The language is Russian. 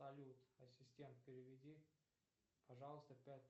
салют ассистент переведи пожалуйста пять